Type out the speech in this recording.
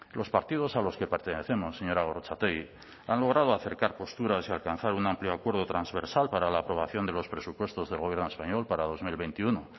los partidos a los que pertenecemos señora gorrotxategi han acercar posturas y alcanzar un amplio acuerdo transversal para la aprobación de los presupuestos del gobierno español para dos mil veintiuno